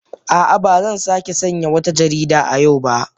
A'a, ba zan sake sayen wata jarida a yau ba